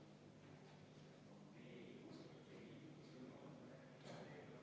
Juhtivkomisjon on arvestanud seda täielikult.